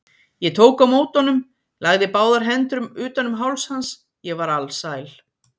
Ég tók á móti honum, lagði báðar hendur utan um háls hans, ég var alsæl.